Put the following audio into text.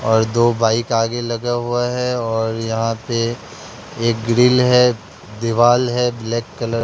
और दो बाइक आगे लगा हुआ है और यहां पे एक ग्रिल है दीवाल है ब्लैक कलर --